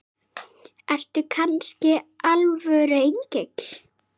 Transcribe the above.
Ertu kannski alvöru engill?